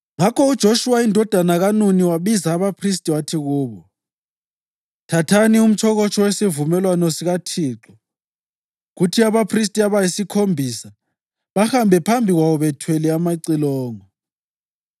Ngakho uJoshuwa indodana kaNuni wabiza abaphristi wathi kubo, “Thathani umtshokotsho wesivumelwano sikaThixo kuthi abaphristi abayisikhombisa bahambe phambi kwawo bethwele amacilongo.”